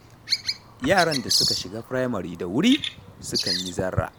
Yaran da suka shiga firamare da wuri, sukan yi zarra.